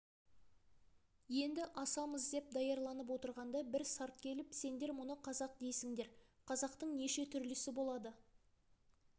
енді асамыз деп даярланып отырғанда бір сарт келіп сендер мұны қазақ дейсіңдер қазақтың неше түрлісі болады